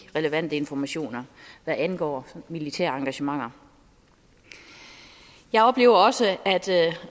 relevante informationer hvad angår militære engagementer jeg oplever også at